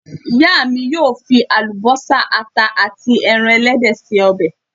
Ìyá mi yóò fi àlùbọ́sà, àta àti ẹran ẹlẹ́dẹ̀ ṣe ọbẹ̀.